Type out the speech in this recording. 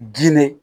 Jilen